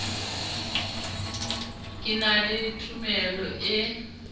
ke na le tumelo e